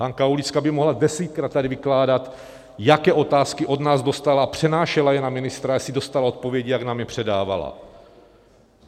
Hanka Aulická by mohla desetkrát tady vykládat, jaké otázky od nás dostala a přenášela je na ministra, jestli dostala odpovědi, jak nám je předávala.